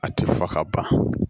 A tɛ fɔ ka ban